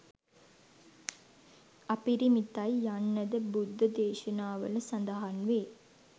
අපිරිමිතයි යන්නද බුද්ද දේශනාවල සඳහන් වේ